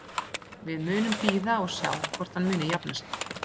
Við munum bíða og sjá hvort hann muni jafna sig.